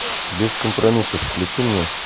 без компромиссов включи мне